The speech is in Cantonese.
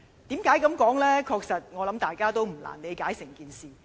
我想大家確實不難理解整件事。